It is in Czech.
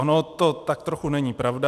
Ono to tak trochu není pravda.